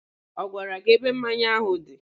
Ọ gwara gị ebe mmanya áhụ̀ dị?